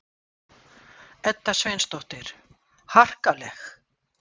Edda Sveinsdóttir: Harkaleg?